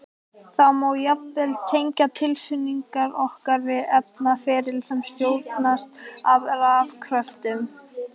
Það má jafnvel tengja tilfinningar okkar við efnaferli sem stjórnast af rafkröftum!